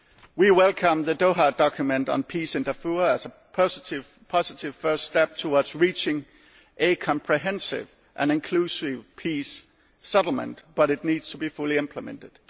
blocked. We welcome the Doha document on peace in Darfur as a positive first step towards reaching a comprehensive and inclusive peace settlement, but it needs to be fully implemented.